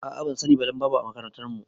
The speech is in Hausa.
A'a bansani ba dan babu a makarantar mu